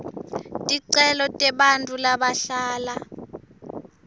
ticelo tebantfu labahlala